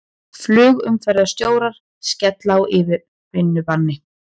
Flugumferðarstjórar skella á yfirvinnubanni